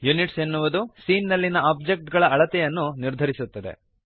units ಎನ್ನುವುದು scene ನಲ್ಲಿಯ object ಗಳ ಅಳತೆಯನ್ನು ನಿರ್ಧರಿಸುತ್ತದೆ